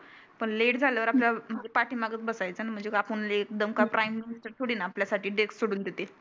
पण लेट झाल्यावर आपल पाठी मागेच बसायचं. म्हणजे आपण लेट थोडी ना आपल्या साठी गेट सोडुन देते.